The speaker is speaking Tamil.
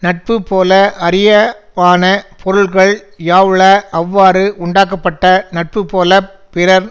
நட்புப்போல அரியவான பொருள்கள் யாவுள அவ்வாறு உண்டாக்கப்பட்ட நட்புப்போலப் பிறர்